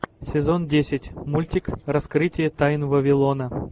сезон десять мультик раскрытие тайн вавилона